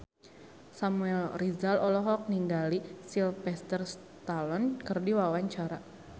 Samuel Rizal olohok ningali Sylvester Stallone keur diwawancara